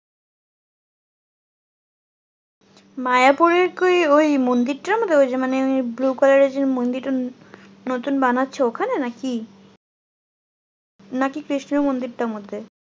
মায়াপুরের কি ওই মন্দিরটার মধ্যে? ওইযে মানে ওই blue color এর যে মন্দিরটা নতুন বানাচ্ছে ওখানে নাকি? নাকি কৃষ্ণের মন্দিরটার মধ্যে?